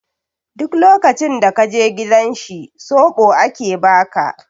Duk lokacin da ka je gidan shi soɓo ake ba ka.